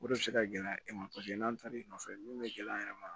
O de bɛ se ka gɛlɛya e ma paseke n'an taara i nɔfɛ min bɛ gɛlɛya yɛrɛ ma